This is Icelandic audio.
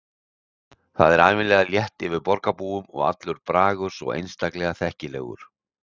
Það er ævinlega létt yfir borgarbúum og allur bragur svo einstaklega þekkilegur.